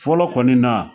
Fɔlɔ kɔni na